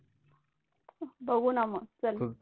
बघू ना मग चल.